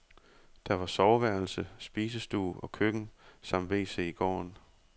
Der var soveværelse, spisestue og køkken samt wc i gården.